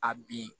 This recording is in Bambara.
A bin